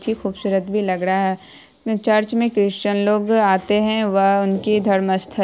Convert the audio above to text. खूबसूरत भी लग रहा है चर्च में क्रिस्चन लोग आते हैं वह उनकी धर्म स्थल --